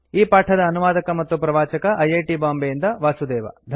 ಈ ಪಾಠದ ಅನುವಾದಕ ಮತ್ತು ಪ್ರವಾಚಕ ಐ ಐ ಟಿ ಬಾಂಬೆಯಿಂದ ವಾಸುದೇವ